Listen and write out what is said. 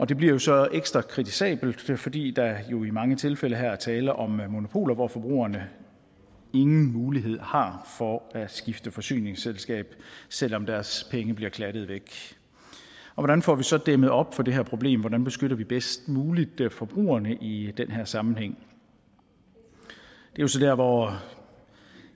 det bliver så ekstra kritisabelt fordi der jo i mange tilfælde her er tale om monopoler hvor forbrugerne ingen mulighed har for at skifte forsyningsselskab selv om deres penge bliver klattet væk hvordan får vi så dæmmet op for det her problem hvordan beskytter vi bedst muligt forbrugerne i den her sammenhæng det er så der hvor jeg